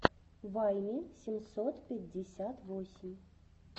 вайми семьсот пятьдесят восемь